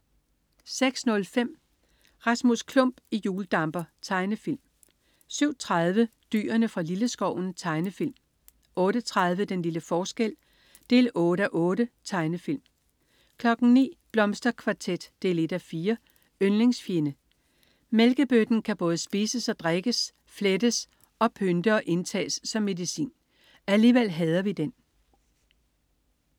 06.05 Rasmus Klump i hjuldamper. Tegnefilm 07.30 Dyrene fra Lilleskoven. Tegnefilm 08.30 Den lille forskel 8:8* 09.00 Blomsterkvartet 1:4. Yndlingsfjende. Mælkebøtten kan både spises og drikkes, flettes og pynte og indtages som medicin. Alligevel hader vi den